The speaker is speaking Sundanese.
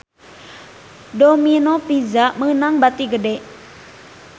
Domino Pizza meunang bati gede